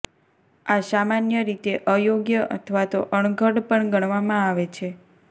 આ સામાન્ય રીતે અયોગ્ય અથવા તો અણઘડ પણ ગણવામાં આવે છે